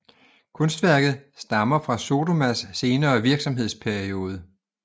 Kunstværket stammer fra Sodomas senere virksomhedsperiode